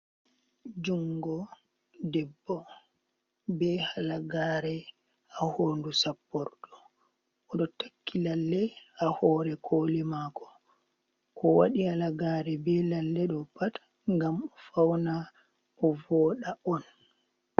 Jungo debbo be halagare ha hondu sappordo, oɗo takki lalle ha hore kole mako, ko waɗi halagare be lalle do pat ngam fauna o voda on.